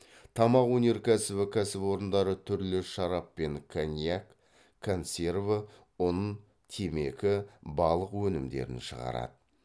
тамақ өнеркәсібі кәсіпорындары түрлі шарап пен коньяк консерві ұн темекі балық өнімдерін шығарады